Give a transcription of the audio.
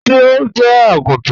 Ṣé ó jẹ́ agúntàn?